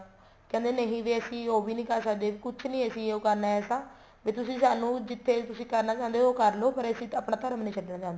ਕਹਿੰਦੇ ਵੀ ਨਹੀਂ ਅਸੀਂ ਉਹ ਵੀ ਨਹੀਂ ਕਰ ਸਕਦੇ ਕੁੱਛ ਨਹੀਂ ਹੋ ਕਰਨਾ ਐਸਾ ਵੀ ਤੁਸੀਂ ਸਾਨੂੰ ਜਿੱਥੇ ਵੀ ਤੁਸੀਂ ਕਰਨਾ ਚਾਹੁੰਦੇ ਹੋ ਕਰਲੋ ਪਰ ਅਸੀਂ ਆਪਣਾ ਧਰਮ ਨਹੀਂ ਛੱਡਣਾ ਚਾਹੁੰਦੇ